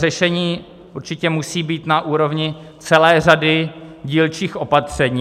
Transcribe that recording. Řešení určitě musí být na úrovni celé řady dílčích opatření.